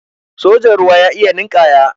sojan ruwa ya iya ninkaya